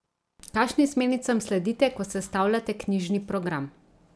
Kakšnim smernicam sledite, ko sestavljate knjižni program?